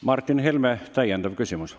Martin Helme, täiendav küsimus.